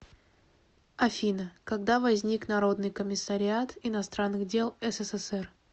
афина когда возник народный комиссариат иностранных дел ссср